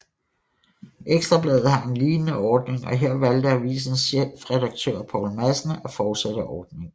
Ekstra Bladet har en lignende ordning og her valgte avisens chefredaktør Poul Madsen at fortsætte ordningen